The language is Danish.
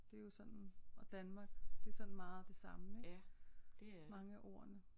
Det er jo sådan og Danmark det er sådan meget det samme ik mange af ordene